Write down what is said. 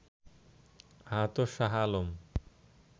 আহত শাহ আলম